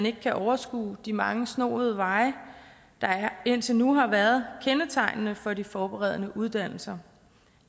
ikke kan overskue de mange snoede veje der indtil nu har været kendetegnende for de forberedende uddannelser